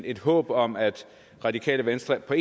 et håb om at radikale venstre